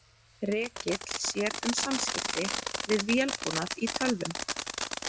Rekill sér um samskipti við vélbúnað í tölvum.